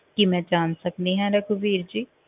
ਕੀ ਮੈਂ ਜਾਣ ਸਕਦੀ ਹਾਂ ਰਘਵੀਰ ਜੀ?